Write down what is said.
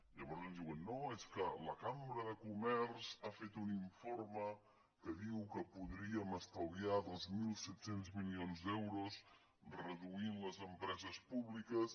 llavors ens diuen no és que la cambra de comerç ha fet un informe que diu que podríem estalviar dos mil set cents milions d’euros reduint les empreses públiques